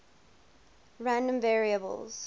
random variables